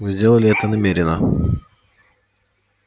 вы сделали это намеренно